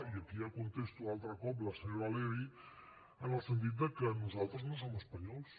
i aquí ja contesto altre cop la senyora levy en el sentit que nosaltres no som espanyols